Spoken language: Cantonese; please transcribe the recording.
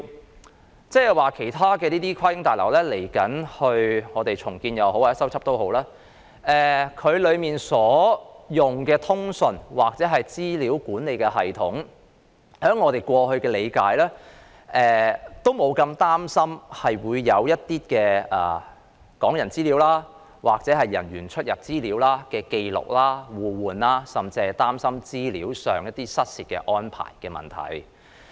意思是，當有其他跨境旅檢大樓未來進行重建或修葺時，當中所採用的通訊或資料管理系統，據我們過去理解，都不會有人擔心港人的資料或人員的出入紀錄會被互換甚或失竊等問題。